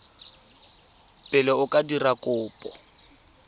pele o ka dira kopo